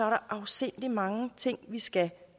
afsindig mange ting vi skal